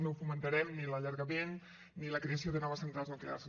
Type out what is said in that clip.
no fomentarem ni l’allargament ni la creació de noves centrals nuclears